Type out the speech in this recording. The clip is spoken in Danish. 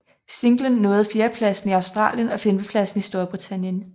Singlen nåede fjerdepladsen i Australien og femtepladsen i Storbritannien